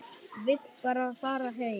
Vill bara fara heim.